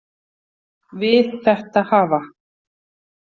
Við þetta hafa.